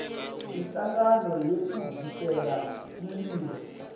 inhlangano yekuvikela umlilo